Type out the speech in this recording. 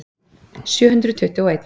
Sjöhundruð tuttugu og einn.